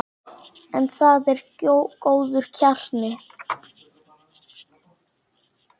En það er góður kjarni.